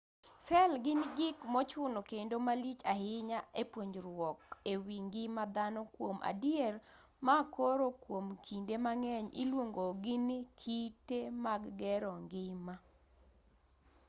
sel gin gik mochuno kendo malich ahinya e puonjruok ewi ngima dhano kuom adier ma koro kuom kinde mang'eny iluongo gi ni kite mag gero ngima